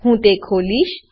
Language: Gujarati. હું તે ખોલીશ